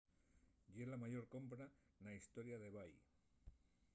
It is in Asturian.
ye la mayor compra na hestoria d'ebay